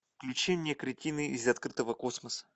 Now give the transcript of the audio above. включи мне кретины из открытого космоса